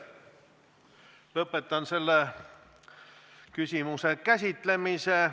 Lõpetan selle küsimuse käsitlemise.